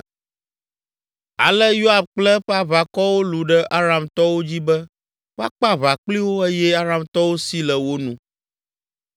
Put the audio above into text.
Ale Yoab kple eƒe aʋakɔwo lũ ɖe Aramtɔwo dzi be woakpe aʋa kpli wo eye Aramtɔwo si le wo nu.